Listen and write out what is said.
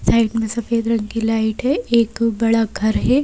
Side में सफेद रंग की लाइट है एक बड़ा घर है।